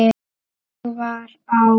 Ég var á